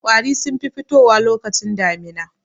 Ƙwari sun fi fitowa lokacin damina.